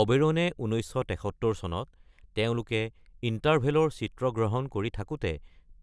অবেৰনে ১৯৭৩ চনত তেওঁলোকে ইন্টাৰভেল-ৰ চিত্ৰগ্ৰহণ কৰি থাকোঁতে